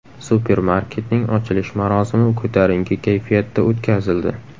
Supermarketning ochilish marosimi ko‘tarinki kayfiyatda o‘tkazildi.